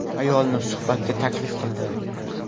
Ayolni suhbatga taklif qildi.